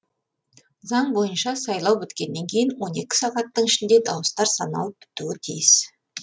заң бойынша сайлау біткеннен кейін он екі сағаттың ішінде дауыстар саналып бітуі тиіс